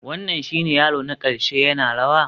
Wannan shine yaro na ƙarshe yana rawa?